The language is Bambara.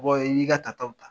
Mɔgɔ, i n'i ka ta taw ta ?